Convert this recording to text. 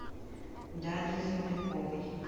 дарье земляковой